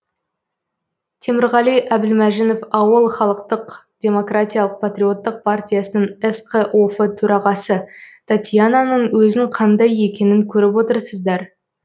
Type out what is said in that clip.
темірғали әбілмәжінов ауыл халықтық демократиялық патриоттық партиясының сқоф төрағасы татьянаның өзін қандай екенін көріп отырсыздар